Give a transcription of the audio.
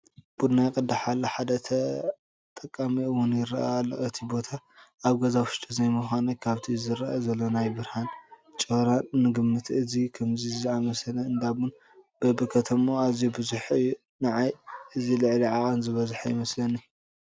ቡና ይቅዳሕ ኣሎ፡፡ ሓደ ተጠቃሚ እውን ይርአ ኣሎ፡፡ እቲ ቦታ ኣብ ገዛ ውሽጢ ዘይምዃኑ ካብቲ ዝርአ ዘሎ ናይ ብርሃን ጮራ ንግምት፡፡ ከምዚ ዝኣምሰለ እንዳ ቡን በብኸተምኡ ኣዝዩ ብዙሕ እዩ፡፡ ንዓይ እዚ ልዕሊ ዓቐን ዝበዝሐ ይመስለኒ፡፡